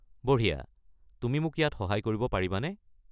বঢ়িয়া! তুমি মোক ইয়াত সহায় কৰিব পাৰিবানে?